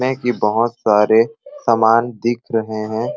में के बहुत सारे समान दिख रहे है।